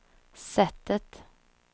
sättet